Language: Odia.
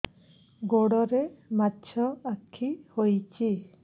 ଗୋଡ଼ରେ ମାଛଆଖି ହୋଇଛି